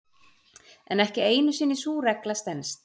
En ekki einu sinni sú regla stenst.